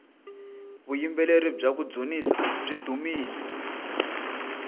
vuyimbeleri bya kudzunisa byi dumile